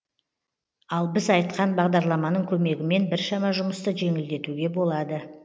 ал біз айтқан бағдарламаның көмегімен біршама жұмысты жеңілдетуге болады